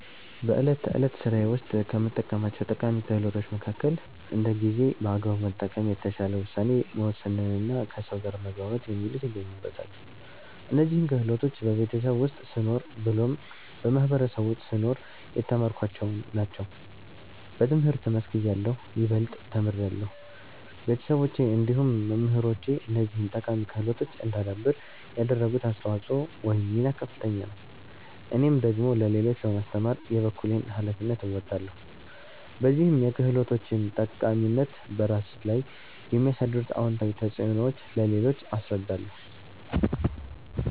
በእለት ተዕለት ስራዬ ውስጥ ከምጠቀማቸው ጠቃሚ ክህሎቶች መከከል እንደ ጊዜን በአግባቡ መጠቀም፣ የተሻለ ውሳኔ መወሰንና ከሰው ጋር መግባባት የሚሉት ይገኙበታል። እነዚህን ክህሎቶች በቤተሰብ ውስጥ ስኖር ብሎም በማህበረሰቡ ውስጥ ስኖር የተማርኳቸውን ናቸው። በትምህርት መስክ እያለሁ ይበልጥ ተምሬያለሁ። ቤተሰቦቼ እንዲሁም መምህራኖቼ እነዚህን ጠቃሚ ክህሎቶች እዳዳብር ያደረጉት አስተዋጽኦ ወይም ሚና ከፍተኛ ነው። እኔም ደግሞ ለሌሎች በማስተማር የበኩሌን ሀላፊነት እወጣለሁ። በዚህም የክህሎቶችን ጠቃሚታ፤ በራስ ላይ የሚያሳድሩት አወንታዊ ተፅዕኖዎች ለሌሎች አስረዳለሁ።